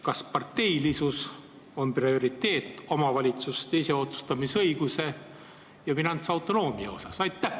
Kas parteilisus on prioriteet omavalitsuste iseotsustamise õiguse ja finantsautonoomia suhtes?